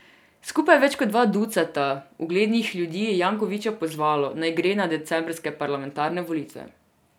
Skupaj več kot dva ducata uglednih ljudi je Jankovića pozvalo, naj gre na decembrske parlamentarne volitve.